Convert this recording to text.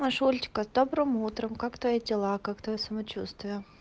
наша олечка с добрым утром как твои дела как твоё самочувствие